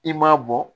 I m'a bɔ